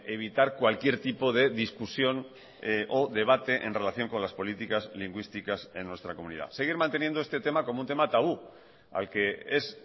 evitar cualquier tipo de discusión o debate en relación con las políticas lingüísticas en nuestra comunidad seguir manteniendo este tema como un tema tabú al que es